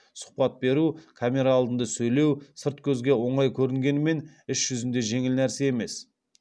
сұхбат беру камера алдында сөйлеу сырт көзге оңай көрінгенімен іс жүзінде жеңіл нәрсе емес